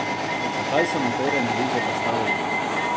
Zakaj se mu torej ne bi zoperstavili?